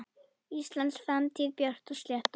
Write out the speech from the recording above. Íslands framtíð björt og slétt.